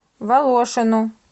волошину